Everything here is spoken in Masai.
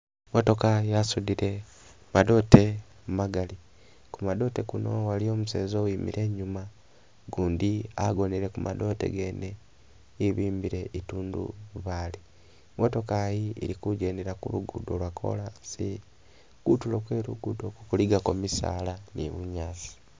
Motooka yasuudile madote magali, ku madote kuno aliwo museza owimile e'nyuma, gundi agonele Ku madote gene e'bimbile i'tundubali, motooka yi ili ku'ngendela kulugudo lwakolasi, kutuulo kwelugudo Ku kulikako mizaala ni bunyaasi